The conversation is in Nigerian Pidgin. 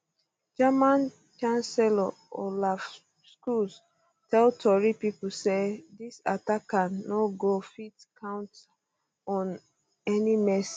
german um chancellor olaf scholz tell tori pipo say dis attacker no go um fit count on any mercy